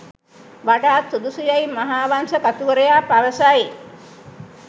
වඩාත් සුදුසු යැයි මහාවංශ කතුවරයා පවසයි.